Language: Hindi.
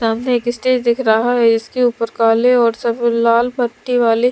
सामने एक स्टेज दिख रहा है इसके ऊपर काले और सब लाल पट्टी वाली--